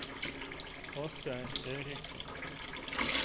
Asgeir Eriksson